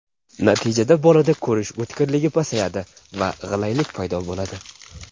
Natijada bolada ko‘rish o‘tkirligi pasayadi va g‘ilaylik paydo bo‘ladi.